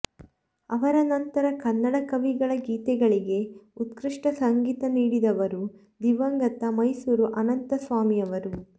ಅವರ ನಂತರ ಕನ್ನಡ ಕವಿಗಳ ಗೀತೆಗಳಿಗೆ ಉತ್ಕೃಷ್ಟ ಸಂಗೀತ ನೀಡಿದವರು ದಿವಂಗತ ಮೈಸೂರು ಅನಂತಸ್ವಾಮಿಯವರು